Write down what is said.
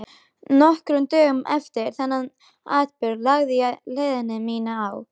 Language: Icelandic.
Nokkrum dögum eftir þennan atburð lagði ég leið mína í